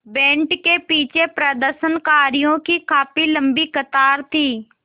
band के पीछे प्रदर्शनकारियों की काफ़ी लम्बी कतार थी